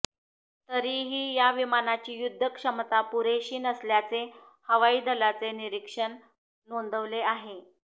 तरीही या विमानाची युद्ध क्षमता पुरेशी नसल्याचे हवाई दलाचे निरीक्षण नोंदवले आहे